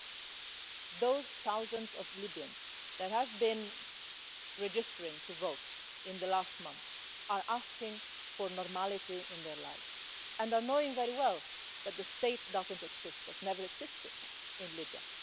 But those thousands of Libyans that have been registering to vote in the last months are asking for normality in their lives and are knowing very well that the state doesn't exist, has never existed in Libya.